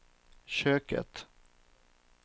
köket